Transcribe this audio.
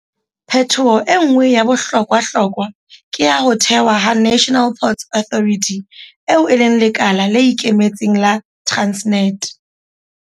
Phetoho e nngwe ya bohlokwahlokwa ke ya ho thewa ha National Ports Authority, eo e leng lekala le ikemetseng la Transnet.